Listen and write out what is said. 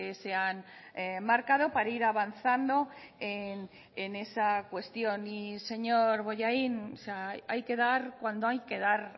se han marcado para ir avanzando en esa cuestión y señor bollain hay que dar cuando hay que dar